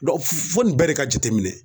fo nin bɛɛ de ka jateminɛ